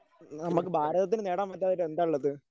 നമ്മക്ക് ഭാരതത്തിന് നേടാൻ പറ്റാത്തതായി എന്താ ഉള്ളത്?